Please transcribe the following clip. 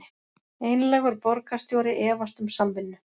Einlægur borgarstjóri efast um samvinnu